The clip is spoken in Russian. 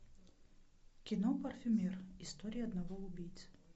кино парфюмер история одного убийцы